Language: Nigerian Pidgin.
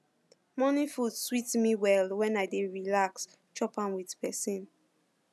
morning food sweet me well when i dey relax relax chop am with person